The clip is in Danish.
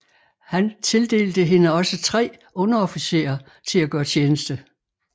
Han tildelte hende også tre underofficerer til at gøre tjeneste